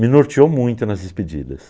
Me norteou muito nas despedidas.